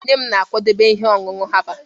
nne m na-akwadebe ihe ọṅụṅụ herbal